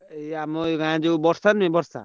ଏଇ ଆମ ଗାଁ ବର୍ଷା ନୁହଁ ବର୍ଷା।